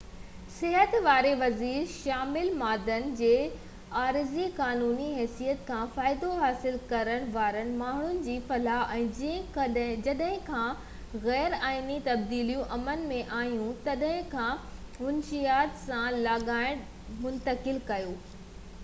صحت واري وزير شامل مادن جي عارضي قانوني حيثيت کان فائدو حاصل ڪرڻ وارن ماڻهن جي فلاح ۽ جڏهن کان غير آئيني تبديليون عمل ۾ آهيون تڏهن کان منشيات سان لاڳاپليل ڏوهن کي منتقل ڪيو ويو تي ڳڻتي جو اظهار ڪيو